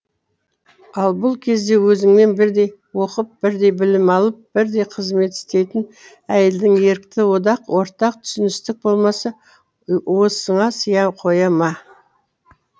ал бұл кезде өзіңмен бірдей оқып бірдей білім алып бірдей қызмет істейтін әйелдін ерікті одақ ортақ түсіністік болмаса уысыңа сыя қоя ма